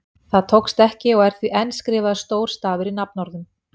Það tókst ekki og er því enn skrifaður stór stafur í nafnorðum.